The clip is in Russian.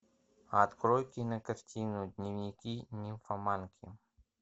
открой кинокартину дневники нимфоманки